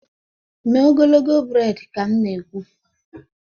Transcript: mee ogologo braid ka m na-ekwu.!